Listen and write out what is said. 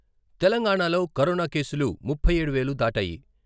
తెలంగాణాలో కరోనా కేసులు ముప్పై ఏడు వేలు దాటాయి.